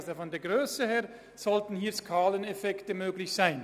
In Anbetracht der Grösse sollten hier Skaleneffekte möglich sein.